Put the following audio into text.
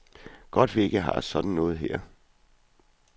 Godt vi ikke har sådan noget her.